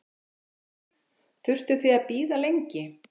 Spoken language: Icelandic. Þórhildur: Þurftuð þið að bíða lengi?